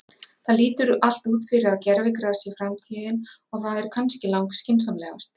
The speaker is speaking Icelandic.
Það lítur allt út fyrir að gervigras sé framtíðin og það er kannski lang skynsamlegast.